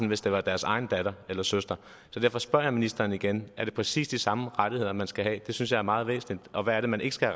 hvis det var deres egen datter eller søster så derfor spørger jeg ministeren igen er det præcis de samme rettigheder man skal have det synes jeg er meget væsentligt og hvad er det man ikke skal